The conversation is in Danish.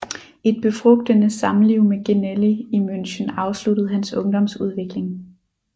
Et befrugtende Samliv med Genelli i München afsluttede hans Ungdomsudvikling